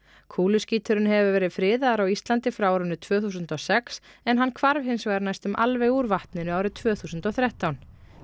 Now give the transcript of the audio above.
kúluskíturinn hefur verið friðaður á Íslandi frá árinu tvö þúsund og sex en hann hvarf hins vegar næstum alveg úr vatninu árið tvö þúsund og þrettán